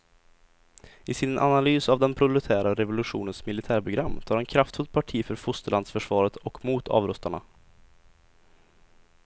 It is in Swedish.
I sin analys av den proletära revolutionens militärprogram tar han kraftfullt parti för fosterlandsförsvaret och mot avrustarna.